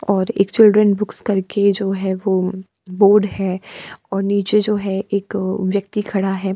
और एक children books करके जो है वो बोर्ड है और नीचे जो है एक व्यक्ति खड़ा है।